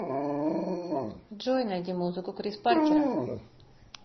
джой найди музыку крис паркера